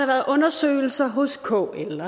været undersøgelser hos kl